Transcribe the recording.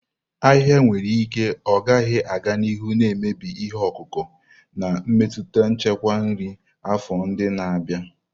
Ahịhịa nwere ike ọ gaghị aga n'ihu na-emebi ihe ọkụkụ, na-emetụta nchekwa nri afọ ndị na-abịa.